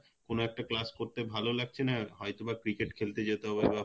কোন একটা class করতে ভালো লাগছে না হয়তোবা cricket খেলতে যেতে হবে বা